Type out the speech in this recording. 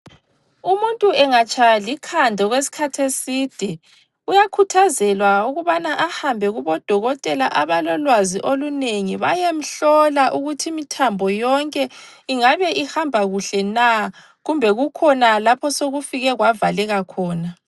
Umuntu engatshaywa likhanda okwesikhathi eside uyakhuthazelwa ukubana ahambe kubo dokotela abalolwazi olinengi bayemhlola ukuthi imithambo yonke ingabe ihamba kuhle na kumbe kukhona lapha osokufike kwavaleka khona.